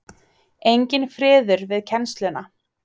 Enginn friður við kennsluna.